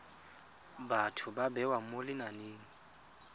batho ba bewa mo lenaneng